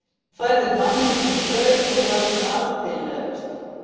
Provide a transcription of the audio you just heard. Hún færði manni sínum brauð og var hin altillegasta.